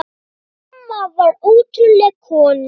Hún amma var ótrúleg kona.